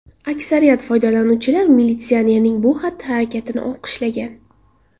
Aksariyat foydalanuvchilar militsionerning bu xatti-harakatini olqishlagan.